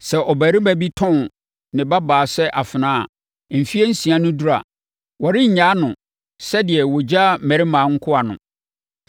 “Sɛ ɔbarima bi tɔn ne babaa sɛ afenaa a, mfeɛ nsia no duru a, wɔrennyaa no sɛdeɛ wɔgyaa mmarima nkoa no.